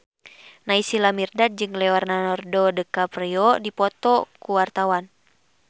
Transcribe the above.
Naysila Mirdad jeung Leonardo DiCaprio keur dipoto ku wartawan